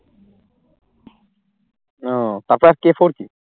ও তারপর